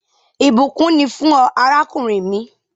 Ìbùkún ni fún ọ, àràkùnrin mi